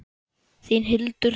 Þín Hildur Sunna.